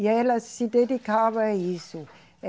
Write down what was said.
E ela se dedicava a isso.